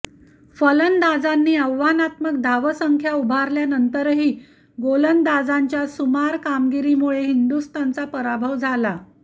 फलंदाजांनी आव्हानात्मक धावसंख्या उभारल्यानंतरही गोलंदाजांच्या सुमार कामगीरीमुळे हिंदुस्थानचा पराभव झाला